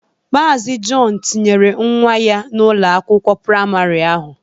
Maazi Jọn tinyere nwa ya n'Ụlọ akwụkwọ praịmarị ahụ.